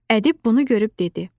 Ədib bunu görüb dedi.